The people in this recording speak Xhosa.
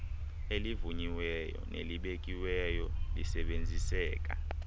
elivunyiweyo nelibekiweyo lisebenziseka